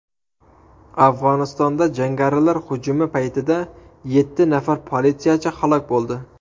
Afg‘onistonda jangarilar hujumi paytida yetti nafar politsiyachi halok bo‘ldi.